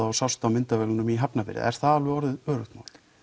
og sást á myndavélum í Hafnarfirði er það orðið öruggt